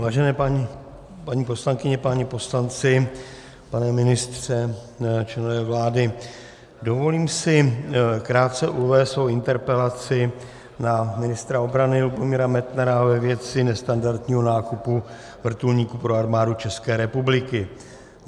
Vážené paní poslankyně, páni poslanci, pane ministře, členové vlády, dovolím si krátce uvést svou interpelaci na ministra obrany Lubomíra Metnara ve věci nestandardního nákupu vrtulníků pro Armádu České republiky.